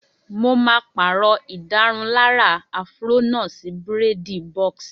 Mo máa pàrọ̀ ìdárunlárà áfúró náà sí bírèèdì bọ́ọ̀sì